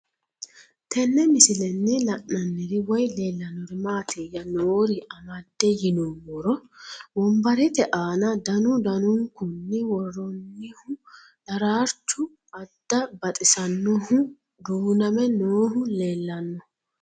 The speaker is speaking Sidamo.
Tenne misilenni la'nanniri woy leellannori maattiya noori amadde yinummoro wonbarette aana danu danunkunni woroonnihu daraarrichchu adda baxisaannohu duunnamme noohu leelanno